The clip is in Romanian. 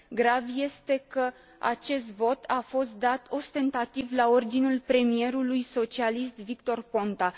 Grav este că acest vot a fost dat ostentativ, la ordinul premierului socialist, Victor Ponta.